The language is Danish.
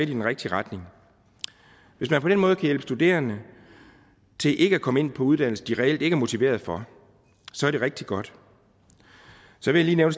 den rigtige retning hvis man på den måde kan hjælpe studerende til ikke at komme ind på uddannelser de reelt ikke er motiverede for så er det rigtig godt så vil jeg